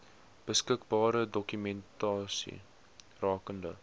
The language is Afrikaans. beskikbare dokumentasie rakende